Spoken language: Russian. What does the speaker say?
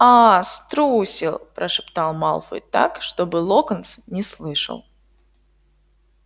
аа струсил прошептал малфой так чтобы локонс не слышал